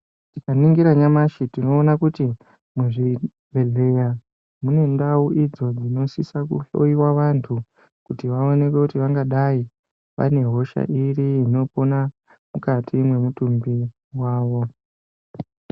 Tika ningira nyamashi tinoona kuti muzvibhedhleya mune ndau idzo dzinosisa kuhloiwa vantu. Kuti vaonekwe kuti vangadai vaine hosha iri inopona mukati mwemutumbi vavo.